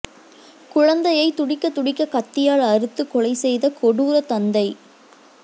குழந்தையை துடிதுடிக்க கத்தியால் அறுத்து கொலை செய்த கொடூர தந்தை